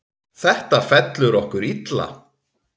Þetta fellur okkur illa.